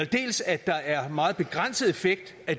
dels at der er en meget begrænset effekt af